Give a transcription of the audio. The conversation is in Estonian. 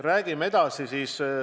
Räägime edasi.